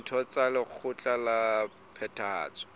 ditho tsa lekgotla la phethahatso